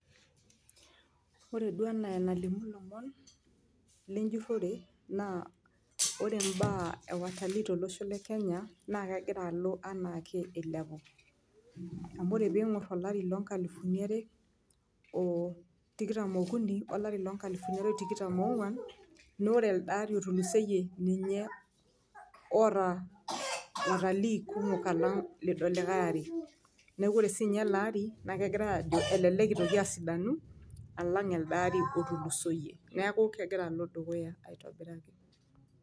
Ore duo enaa enalimu ilomon lenjurore naa ore mbaa e watalii tolosho le kenya naake egira alo enaake ilepu, amu ore piing'or olari loo nkalifuni are oo tikitam oo okuni oo lari loo nkalifuni are tikitam oo ng'uan naa ore elde ari otulusoyie ninye oota watalii kumok alang' ilido likai ari. Neeku ore siinye ele ari egirai aajo elelek itoki asidanu alang' elde ari otulusoyie. Neeku kegira alo dukuya aitobiraki.